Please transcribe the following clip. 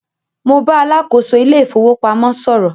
Mo bá alákòóso ilé ìfowópamọ́ sọ̀rọ̀